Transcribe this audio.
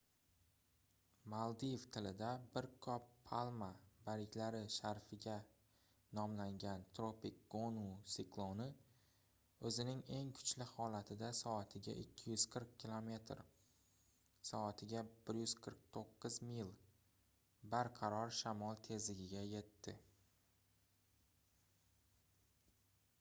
maldiv tilida bir qop palma barglari sharafiga nomlangan tropik gonu sikloni o'zining eng kuchli holatida soatiga 240 kilometr soatiga 149 mil barqaror shamol tezligiga yetdi